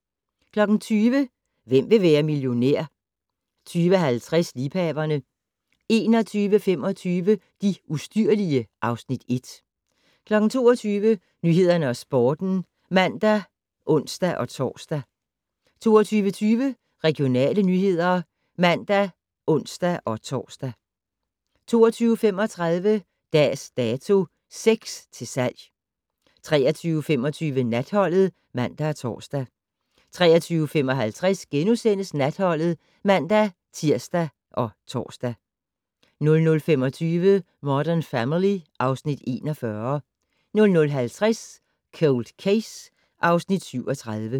20:00: Hvem vil være millionær? 20:50: Liebhaverne 21:25: De ustyrlige (Afs. 1) 22:00: Nyhederne og Sporten (man og ons-tor) 22:20: Regionale nyheder (man og ons-tor) 22:35: Dags Dato: Sex til salg 23:25: Natholdet (man og tor) 23:55: Natholdet *(man-tir og tor) 00:25: Modern Family (Afs. 41) 00:50: Cold Case (Afs. 37)